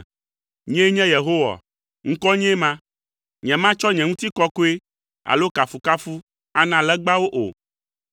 “Nyee nye Yehowa, ŋkɔnyee ma! Nyematsɔ nye ŋutikɔkɔe alo kafukafu ana legbawo o.